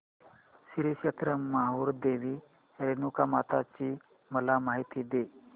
श्री क्षेत्र माहूर देवी रेणुकामाता ची मला माहिती दे